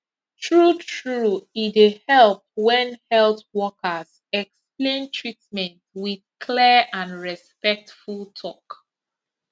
truetrue e dey help when health workers explain treatment with clear and respectful talk